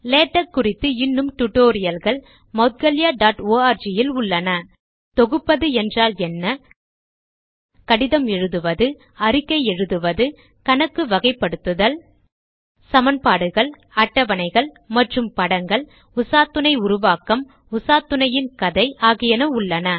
LaTeX குறித்து இன்னும் டுடோரியல்கள் moudgalyaஆர்க் இல் உள்ளன தொகுப்பது என்றால் என்ன கடிதம் எழுதுவது அறிக்கை எழுதுவது கணக்கு வகைப்படுத்தல் சமன்பாடுகள் அட்டவணைகள் மற்றும் படங்கள் உசாத்துணை உருவாக்கம் உசாத்துணையின் கதை ஆகியன உள்ளன